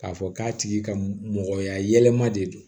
K'a fɔ k'a tigi ka mɔgɔya yɛlɛma de don